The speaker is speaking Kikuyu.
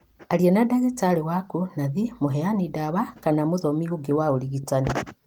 Aria na ndagitari waku , nathi, mũheani dawa, kana mũthomi ũngi wa ũrigitani